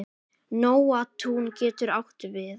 Nóatún getur átt við